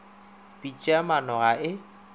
pitša ya maano ga e